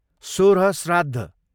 सोह्र श्राद्ध